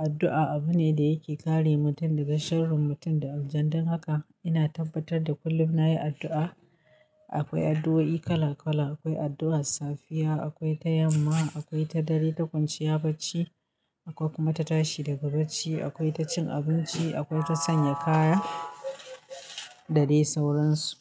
Addu'a abu ne da yake kare mutum daga sharrin mutum, da aljan. Don haka ina tabbatar da kullum na yi addu'a. Akwai addu'o'i kala kala, akwai addu'ar safiya, akwai ta yamma, akwai ta dare, ta kwanciya bacci, akwai kuma ta tashi daga bacci, akwai ta cin abinci, akwai ta sanya kaya da dai sauran su.